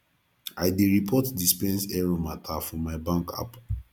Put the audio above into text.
i dey report dispense error mata for my bank app